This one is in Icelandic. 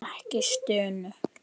Ekki stunu.